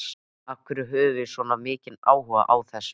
Af hverju höfum við svona mikinn áhuga á þessu?